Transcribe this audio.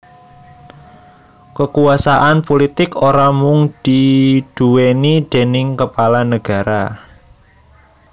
Kakuwasan pulitik ora mung diduwèni déning kepala nagara